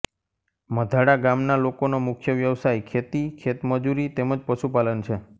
મધાડા ગામના લોકોનો મુખ્ય વ્યવસાય ખેતી ખેતમજૂરી તેમ જ પશુપાલન છે